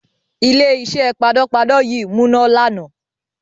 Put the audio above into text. Ilé-iṣẹ́ panápaná yí múná lànà.